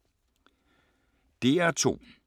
DR2